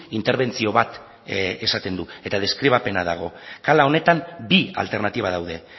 interbentzio bat esaten du eta deskribapena dago kala honetan bi alternatiba daude